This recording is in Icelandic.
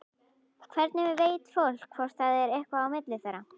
Hvernig veit fólk hvort það er eitthvað á milli þeirra?